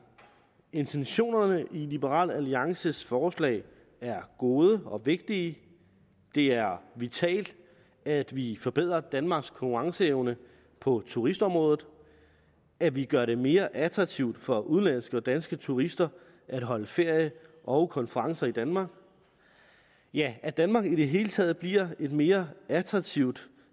intentionerne i liberal alliances forslag er gode og vigtige det er vitalt at vi forbedrer danmarks konkurrenceevne på turistområdet at vi gør det mere attraktivt for udenlandske og danske turister at holde ferie og konferencer i danmark ja at danmark i det hele taget bliver et mere attraktivt